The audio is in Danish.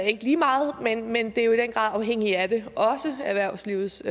ikke lige meget men men det er jo i den grad afhængigt af det også erhvervslivets